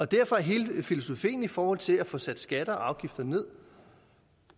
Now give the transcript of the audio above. derfor er hele filosofien i forhold til at få sat skatter og afgifter ned